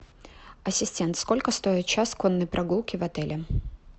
ассистент сколько стоит час конной прогулки в отеле